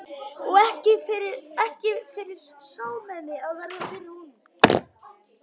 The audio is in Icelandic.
Og ekki fyrir smámenni að verða fyrir honum!